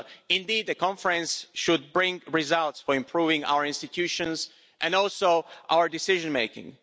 Indeed, the conference should bring results for improving our institutions, and also our decision making.